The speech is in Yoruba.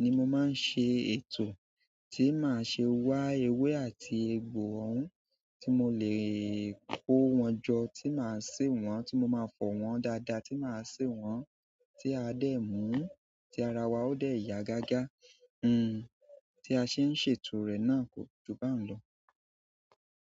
ni mo máa ń ṣe ètò, tí màá ṣe wá ewé àti egbò òun, tí mo lè kó wọn jọ, tí màá sè wọ́n, tí mo máa fọ̀ wọ́n dáadáa, tí màá sè wọ́n, tí a dé mú, tí ara wa ó dé yá gágá. Hmm tí a ṣe ń ṣètò rẹ̀ náà kò jú bá ń lọ.